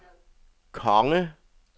konge